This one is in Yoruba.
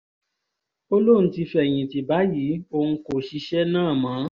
ó lóun ti fẹ̀yìntì báyìí òun kò ṣiṣẹ́ náà mọ́